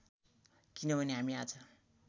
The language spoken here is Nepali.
किनभने हामी आज